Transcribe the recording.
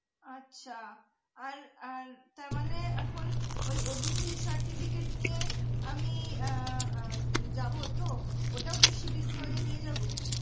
আচ্ছা আর আর মানে এখন ওই OBC certificate নিয়ে আমি আহ যাবো তো অইতাও কৃষি বিভাগে নিয়ে যাবো?